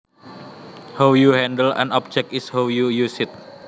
How you handle an object is how you use it